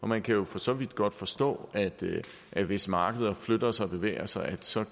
man kan jo for så vidt godt forstå at der hvis markederne flytter sig bevæger sig så